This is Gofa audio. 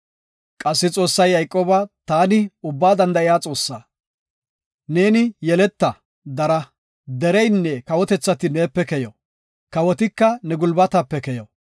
Qassi Xoossay Yayqooba, “Taani Ubbaa Danda7iya Xoossa. Neeni yeleta, dara. Dereynne kawotethati neepe keyo. Kawotika ne gulbatape keyo.